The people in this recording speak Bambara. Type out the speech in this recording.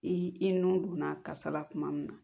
I i nɔn donna kasara kuma min na